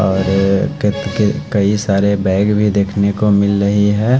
और केक के कई सारे बैग भी देखने को मिल रही है।